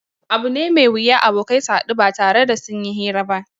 Abu ne mai wuya abokai su haɗu ba tare da sun yi hira ba